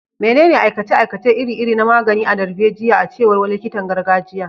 Menene aikace-aikace iri-iri na magani na darbejiya, a cewar wani likitan gargajiya?